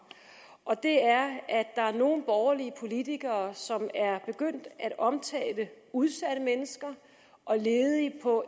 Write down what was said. og det er at der er nogle borgerlige politikere som er begyndt at omtale udsatte mennesker og ledige på